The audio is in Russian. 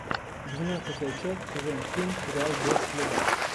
двенадцатая часть сезон семь сериал без следа